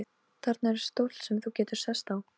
Þarna er stóll sem þú getur sest á.